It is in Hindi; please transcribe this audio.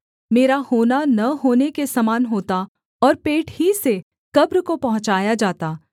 मेरा होना न होने के समान होता और पेट ही से कब्र को पहुँचाया जाता